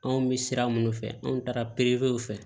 Anw bɛ sira minnu fɛ an taara pepew fɛ